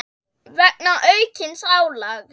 vegna aukins álags.